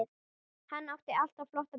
Hann átti alltaf flotta bíla.